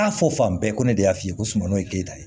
A fɔ fan bɛɛ ko ne y'a f'i ye ko sunɔgɔ ye keyita ye